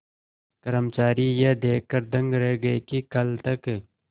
कर्मचारी यह देखकर दंग रह गए कि कल तक